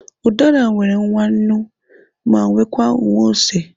Udara nwere nwa nnu, ma nwee nke nwa ose.